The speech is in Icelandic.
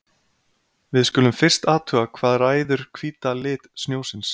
Við skulum fyrst athuga hvað ræður hvíta lit snjósins.